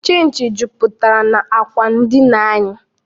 Chịnchị juputere n'akwa ndina anyị